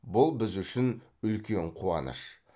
бұл біз үшін үлкен қуаныш